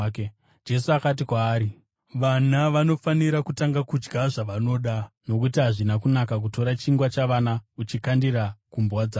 Jesu akati kwaari, “Vana vanofanira kutanga kudya zvavanoda, nokuti hazvina kunaka kutora chingwa chavana uchichikandira kumbwa dzavo.”